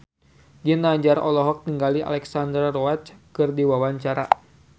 Ginanjar olohok ningali Alexandra Roach keur diwawancara